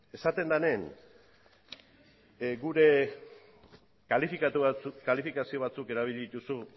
esaten denean gure kalifikazio batzuk erabili dituzu